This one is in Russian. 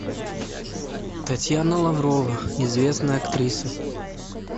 татьяна лаврова известная актриса